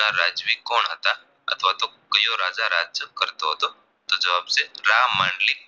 કરતો હતો તો જવાબ છે ના રામાનલી